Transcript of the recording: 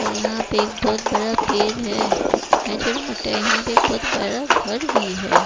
और यहाँ पे बहोत बड़ा पेड़ है। और यहा पे बहोत बड़ा घर भी है।